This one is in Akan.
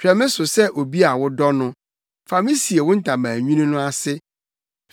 Hwɛ me so sɛ obi a wodɔ no; fa me sie wo ntaban nwini no ase,